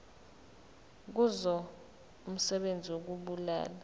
kuzo umsebenzi wokubulala